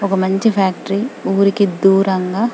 ఒక మంచి ఫ్యాక్టరీ ఉరికి దూరంగా--